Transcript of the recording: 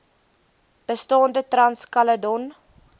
bestaande trans caledon